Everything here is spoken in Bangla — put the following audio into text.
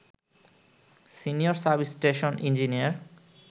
senior sub station engineer